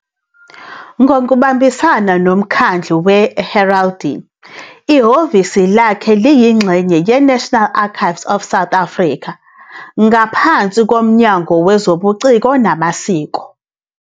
Ngokubambisana noMkhandlu weHeraldry, ihhovisi lakhe liyingxenye yeNational Archives of South Africa, ngaphansi koMnyango Wezobuciko Namasiko.